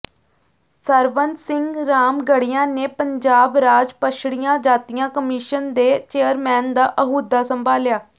ਸਰਵਣ ਸਿੰਘ ਰਾਮਗੜ੍ਹੀਆ ਨੇ ਪੰਜਾਬ ਰਾਜ ਪੱਛੜੀਆਂ ਜਾਤੀਆਂ ਕਮਿਸ਼ਨ ਦੇ ਚੇਅਰਮੈਨ ਦਾ ਅਹੁਦਾ ਸੰਭਾਲਿਆ